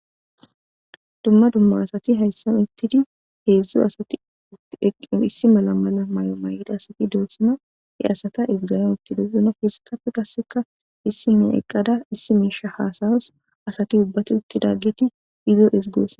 Dumma dumma asati hayssan ittidi heezu asat issi mala mala mayo mayida asati doossima he asata iziganon itti dosina fisikapfe kasseka issi mee eqqada issi meesha haasayos asati ubbati uttidageti izo izgoos